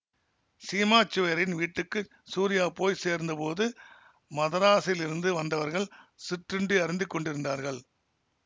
சீமாச்சுவய்யரின் வீட்டுக்கு சூரியா போய் சேர்ந்த போது மதராஸிலிருந்து வந்தவர்கள் சிற்றுண்டி அருந்திக் கொண்டிருந்தார்கள்